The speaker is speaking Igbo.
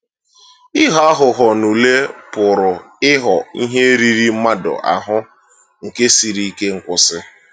Ịghọ aghụghọ n’ule pụrụ ịghọ ihe riri mmadụ ahụ nke siri ike nkwụsị.